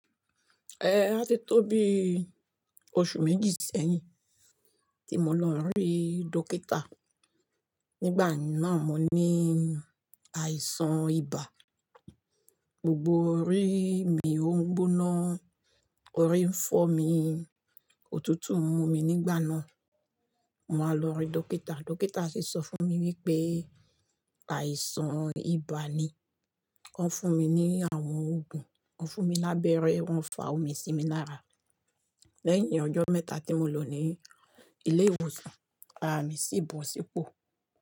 Eh, a ti tóbi oṣù méjì sẹ́yìn tí mo lọ rí dókítà. Nígbà náà mo ní àìsàn ibà. Gbogbo orí mi ó ń gbóná, orí ń fọ́ mi, òtútù ń mu mi nígbà náà. Mo wáa lọ rí dókítà, dókítà sì sọ fún mi wípé àìsàn ibà ni. Wọ́n fún mi ní àwọn òògùn, wọ́n fún mi lábẹ́rẹ́, wọ́n fa omi sí mi náà rà. Lẹ́yìn ọjọ́ mẹ́ta tí mo lọ ní ilé ìwòsàn, ara mi sì bọ̀ sípò.